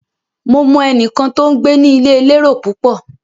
Mo mọ ẹnìkan tó ń gbé ní ilé elérò púpọ̀.